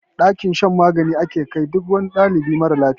Dakin shan magani ake kai duk wani ɗalibi marar lafiya.